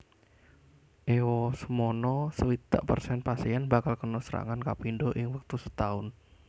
Ewasemono swidak persen pasien bakal kena serangan kapindho ing wektu setaun